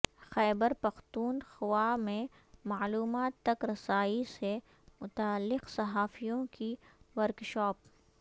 خیبر Pakhtunkhwa میں معلومات تک رسائی سے متعلق صحافیوں کی ورکشاپ